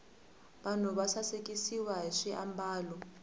vanhu va sasikiswa hi swiambalo